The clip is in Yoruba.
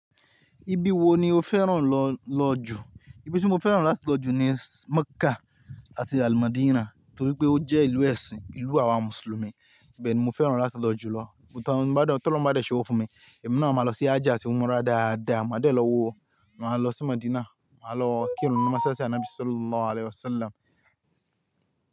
Ibi wo ni o fẹ́ràn lọ lọ jù? Ibi tí mo fẹ́ràn láti lọ jù ni Mecca àti Almadina torí pé ó jẹ́ ìlú ẹ̀sìn, ìlú àwa Mùsùlùmí. Bẹ́ẹ̀ni mo fẹ́ràn láti lọ jù lọ. But tọ lọ bá dẹ̀ ṣẹ́wọ fún mi, èmi náà máa lọ sí Hajj àti Umrah dáadáa. Máa dé lọ wò ó, máa lọ sí Medina, máa lọ kí ìrún ni másalasi Anabi Sallallahu Alaihi Wasallam.